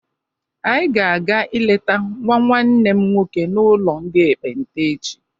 Anyị ga-aga ileta nwa nwanne m nwoke n'ụlọ ndị ekpenta echi.